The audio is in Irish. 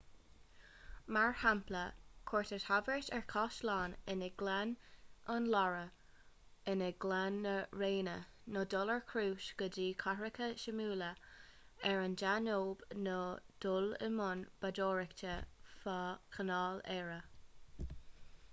mar shampla cuairt a thabhairt ar chaisleáin i ngleann an loire i ngleann na réine nó dul ar chrús go dtí cathracha suimiúla ar an danóib nó dul i mbun bádóireachta feadh chanáil erie